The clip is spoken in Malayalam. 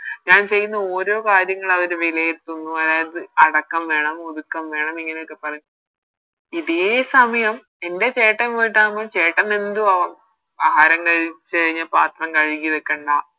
ഞാൻ ചെയ്യുന്ന ഓരോ കാര്യങ്ങളും അവര് വിലയിരുത്തുന്നു അതായത് അടക്കം വേണം ഒതുക്കം വേണം ഇങ്ങനെയൊക്കെ പറയും ഇതേ സമയം എൻറെ ചേട്ടൻ പോയിട്ടാവുമ്പോ ചേട്ടനെന്തും ആവാം ആഹാരം കഴിച്ച് കഴിഞ്ഞ പാത്രം കഴുകി വെക്കണ്ട